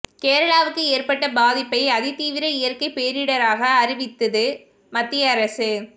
கேரளாவுக்கு ஏற்பட்ட பாதிப்பை அதிதீவிர இயற்கை பேரிடராக அறிவித்தது மத்திய அரசு